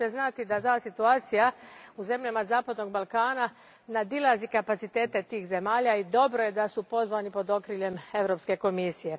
Morate znati da ta situacija u zemljama zapadnog Balkana nadilazi kapacitete tih zemalja i dobro je da su pozvani pod okriljem Europske komisije.